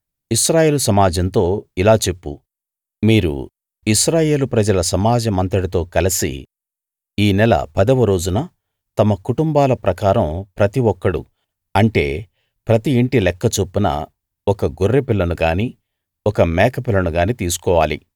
ఇశ్రాయేలు సమాజంతో ఇలా చెప్పు మీరు ఇశ్రాయేలు ప్రజల సమాజమంతటితో కలసి ఈ నెల పదవ రోజున తమ కుటుంబాల ప్రకారం ప్రతి ఒక్కడూ అంటే ప్రతి ఇంటి లెక్క చొప్పున ఒక గొర్రెపిల్లను గానీ మేకపిల్లను గానీ తీసుకోవాలి